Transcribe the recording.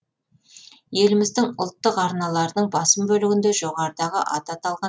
еліміздің ұлттық арналарының басым бөлігінде жоғарыдағы аты аталған